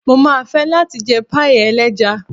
Mo máa fẹ́ láti jẹ páíì ẹlẹ́ja.